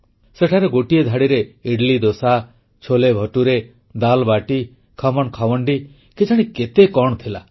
ସେଠାରେ ଗୋଟିଏ ଧାଡ଼ିରେ ଇଡଲିଦୋସା ଛୋଲେଭଟୁରେ ଦାଲ୍ବାଟି ଖମଣ୍ଖାଣ୍ଡୱି କେଜାଣି କେତେ କଣ ଥିଲା